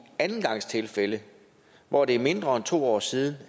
andengangstilfælde hvor det er mindre end to år siden